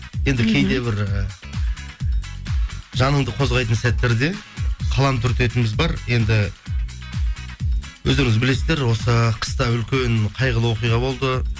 енді кейде бір і жаныңды қозғайтын сәттерде қалам түртетініміз бар енді өздеріңіздер білесіздер осы қыста үлкен қайғылы оқиға болды